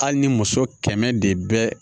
Hali ni muso kɛmɛ de bɛ